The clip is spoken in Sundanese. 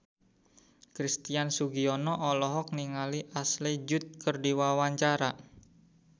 Christian Sugiono olohok ningali Ashley Judd keur diwawancara